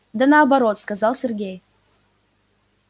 да наоборот сказал сергей